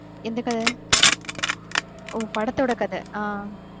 என்ன கதை? ஓ படத்தோட கதை அஹ்